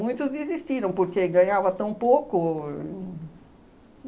Muitos desistiram, porque ganhava tão pouco.